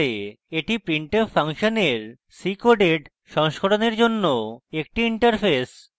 এটি printf ফাংশনের ccoded সংস্করণের জন্য একটি interface